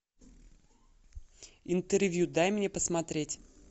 интервью дай мне посмотреть